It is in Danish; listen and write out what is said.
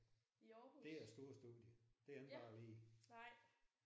Det er et stort studie. Det er ikke bare lige